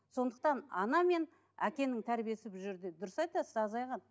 сондықтан ана мен әкенің тәрбиесі бұл жерде дұрыс айтасыз азайған